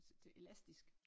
Så det elastisk